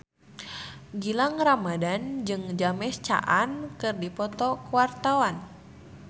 Gilang Ramadan jeung James Caan keur dipoto ku wartawan